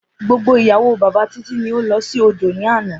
Gbogbo ìyàwó bàbá Titi ni ó lọ sí odò ní àná.